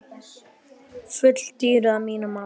Full dýru að mínu mati.